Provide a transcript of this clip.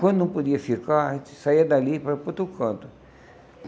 Quando não podia ficar, a gente saía dali para ir para outro canto.